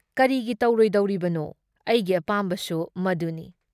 ꯀꯔꯤꯒꯤ ꯇꯧꯔꯣꯏꯗꯧꯔꯤꯕꯅꯣ? ꯑꯩꯒꯤ ꯑꯄꯥꯝꯕꯁꯨ ꯃꯗꯨꯅꯤ ꯫